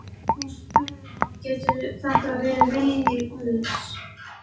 Hún spurði hann, getur þetta verið vilji guðs?